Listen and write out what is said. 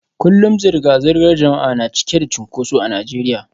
Kullum zirga-zirgar jama'a na cike da cunkoso a Najeriya